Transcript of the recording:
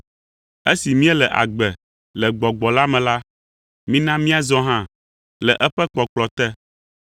Esi míele agbe le Gbɔgbɔ la me la, mina míazɔ hã le eƒe kpɔkplɔ te.